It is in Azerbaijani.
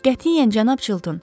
Qətiyyən cənab Çilton.